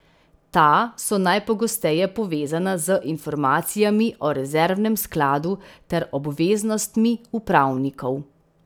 Ta so najpogosteje povezana z informacijami o rezervnem skladu ter obveznostmi upravnikov.